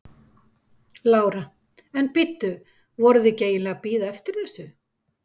Lára: En bíddu, voruð þið ekki eiginlega að bíða eftir þessu?